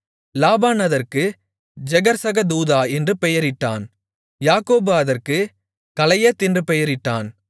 லாபான் அதற்கு ஜெகர்சகதூதா என்று பெயரிட்டான் யாக்கோபு அதற்குக் கலயெத் என்று பெயரிட்டான்